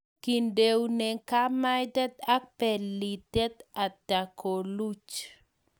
Kendoune kimaitet ak pelitiet atya koluch